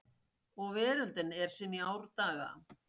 Og veröldin er sem í árdaga